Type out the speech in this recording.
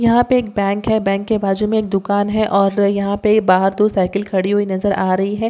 या पे एक बैंक है बैंक के बाजु में एक दूकान है और यहाँ पे बाहर दो साइकिल खड़ी नज़र आरही है.